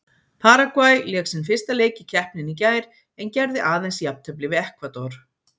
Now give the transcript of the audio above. Paragvæ lék sinn fyrsta leik í keppninni í gær en gerði aðeins jafntefli við Ekvador.